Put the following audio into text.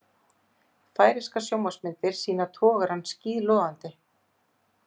Færeyskar sjónvarpsmyndir sýna togarann skíðlogandi